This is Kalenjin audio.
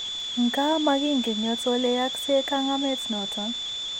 Nkaa, making'een yooto ole yaakse kang'ameet noton.